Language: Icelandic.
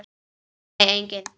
Nei, enginn